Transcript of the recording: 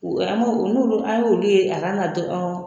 N'olu an y'olu ye a kan ka